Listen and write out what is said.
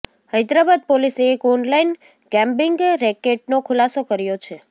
હૈદરાબાદ પોલીસે એક online gambling રેકેટનો ખુલાસો કર્યો છે